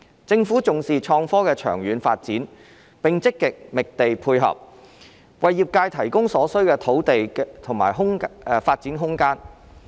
政府重視創科的長遠發展，並積極覓地配合，為業界提供所需的土地和發展空間。